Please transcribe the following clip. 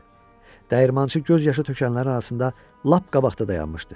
Dəyirmançı göz yaşı tökənlərin arasında lap qabaqda dayanmışdı.